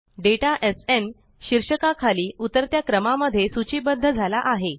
data SN शीर्षका खाली उतरत्या क्रमा मध्ये सूचीबद्ध झाला आहे